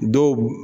Dɔw